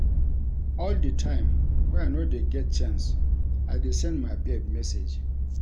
All di time wey I no dey get chance, I dey send my babe message.